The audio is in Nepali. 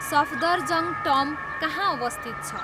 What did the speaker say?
सफ्दरजङ टम्ब कहाँ अवस्थित छ